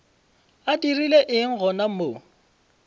a dirile eng gona mo